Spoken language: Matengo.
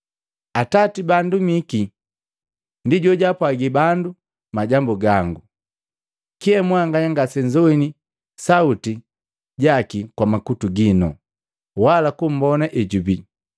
Atati baandumiki ndi jojaapwagi bandu majambu gangu. Kyee mwanganya ngasenzoini sauti jaki kwa makutu ginu wala kummbona ejubii,